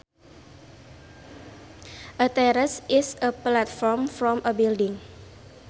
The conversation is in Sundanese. A terrace is a platform from a building